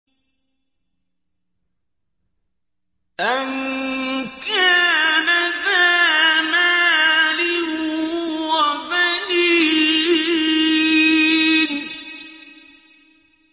أَن كَانَ ذَا مَالٍ وَبَنِينَ